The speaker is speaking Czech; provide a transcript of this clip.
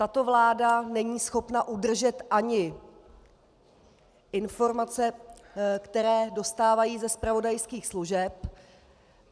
Tato vláda není schopna udržet ani informace, které dostávají ze zpravodajských služeb.